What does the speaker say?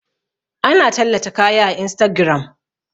Ana tallata kaya a instagiram